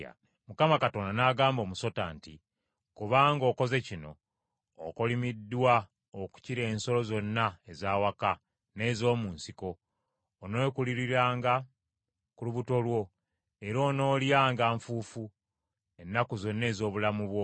Mukama Katonda n’agamba omusota nti, Kubanga okoze kino okolimiddwa okukira ensolo zonna ez’awaka n’ez’omu nsiko, oneekululiranga ku lubuto lwo era onoolyanga nfuufu ennaku zonna ez’obulamu bwo.